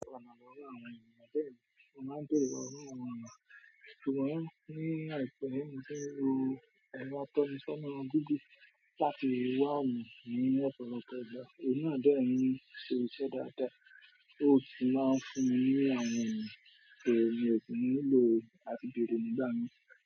O wà ènìyàn bẹ̀ ni, o máa ń béèrè irú àwọn ènìyàn. Ṣùgbọ́n ní àìpẹ́, mo ti ń ro ẹrọ atọ́ni sọ́nà didi láti wá ọ̀nà ní lọ́pọ̀lọpọ̀ ìgbà. Òhun náà n dẹ̀ ń ṣe iṣẹ́ dáadáa, ó tì máa ń fún mi ní àwọn ọnà, so mi o kí ń ní lò láti bèrè nígbà mi.